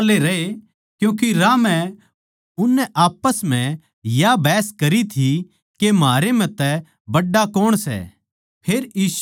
वे बोलबाल्ले रहे क्यूँके राह म्ह उननै आप्पस म्ह या बहस करी थी के म्हारै म्ह तै बड्ड़ा कौण सै